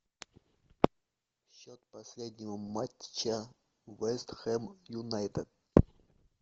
счет последнего матча вест хэм юнайтед